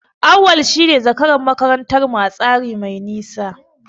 Auwal shine zakaran makarantar mu a tsere mai nisa.